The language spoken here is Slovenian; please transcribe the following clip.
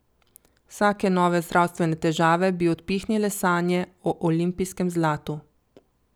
Vsake nove zdravstvene težave bi odpihnile sanje o olimpijskem zlatu.